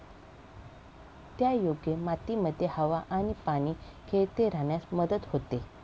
त्यायोगे मातीमध्ये हवा आणि पाणी खेळते राहण्यास मदत होते.